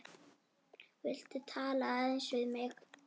Viltu tala aðeins við mig.